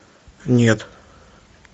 нет